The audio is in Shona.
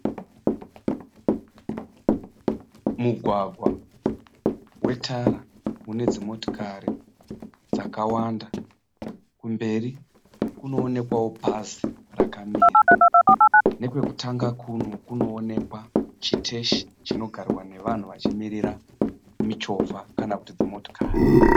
Mugwagwa wetara une dzimotikari dzakawanda kumberi kunoonekwawo bhazi rakamira. Nekwekutanga kuno kunonekwa chiteshi chinogarwa nevanhu vachimirira michovha kana kuti dzimotikari.